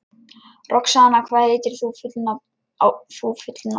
Roxanna, hvað heitir þú fullu nafni?